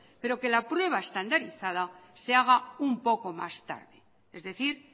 pero que la prueba estandarizada se haga un poco más tarde es decir